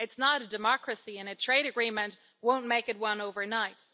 It's not a democracy, and a trade agreement won't make it one overnight.